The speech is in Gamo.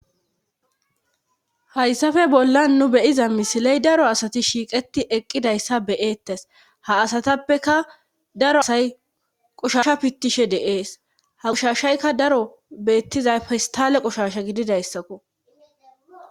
Hayssafe bollan nu beyiza misiley daro asati shiiqeti eqqidayssa beyeettes ha asatappeka daro asay qushasha pittishe deees ha qushashaykka daro beettizay fistale qushasha gididayssakko.